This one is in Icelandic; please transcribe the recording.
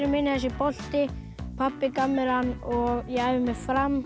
minn er þessi bolti pabbi gaf mér hann og ég æfi með Fram